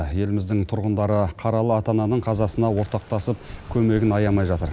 еліміздің тұрғындары қаралы ата ананың қазасына ортақтасып көмегін аямай жатыр